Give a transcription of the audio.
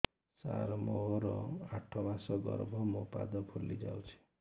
ସାର ମୋର ଆଠ ମାସ ଗର୍ଭ ମୋ ପାଦ ଫୁଲିଯାଉଛି